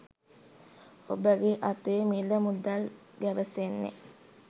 ඔබගේ අතේ මිල මුදල් ගැවසෙන්නේ